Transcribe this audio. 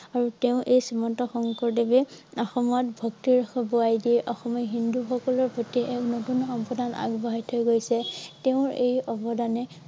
আৰু তেওঁ এই শ্ৰীমন্ত শঙ্কৰদেৱে অসমত বক্তিৰ দিয়ে। অসমৰ হিন্দু সকলৰ প্ৰতি এক নতুন অৱদান আগবঢ়াই থৈ গৈছে। । তেওঁৰ এই অৱদানে